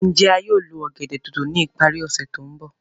Njẹ a yóò lo ọ̀gẹ̀dẹ̀ dòdò ni ipari ose to nbọ?